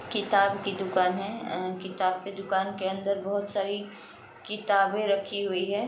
किताब की दुकान है। अ किताब की दुकान के अंदर बोहोत सारी किताबें रखी हुई हैं।